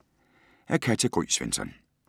Af Katja Gry Svensson